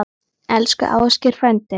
Elsku Ásgeir frændi.